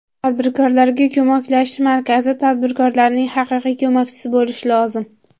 Tadbirkorlarga ko‘maklashish markazi tadbirkorlarning haqiqiy ko‘makchisi bo‘lishi lozim.